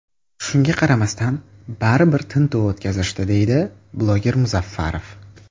Shunga qaramasdan baribir tintuv o‘tkazishdi”, deydi bloger Muzaffarov.